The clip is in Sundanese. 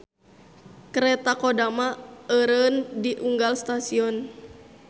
Kareta Kodama eureun di unggal stasion.